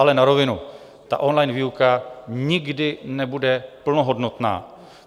Ale na rovinu, on-line výuka nikdy nebude plnohodnotná.